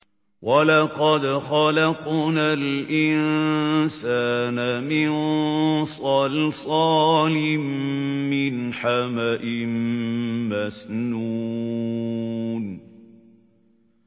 وَلَقَدْ خَلَقْنَا الْإِنسَانَ مِن صَلْصَالٍ مِّنْ حَمَإٍ مَّسْنُونٍ